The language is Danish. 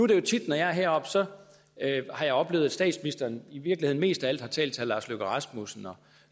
det jo tit når jeg er heroppe at jeg har oplevet at statsministeren i virkeligheden mest af alt har talt til herre lars løkke rasmussen og